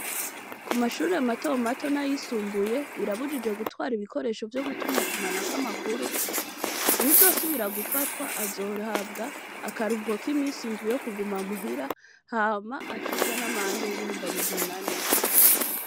Ku mashuri matomato nayisumbuye birabujijwe gutwara ibikoresho vyo gutumatumanako amakuru uwu zosubira gufatwa azohabwa akaruhuko k'iminsi indwi yo kuguma muhira hama acibwe n'amande y'ibihumbi amajana ane.